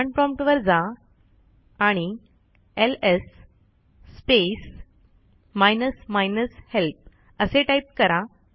command prompt वर जा आणि LS space minus minus help असे टाईप करा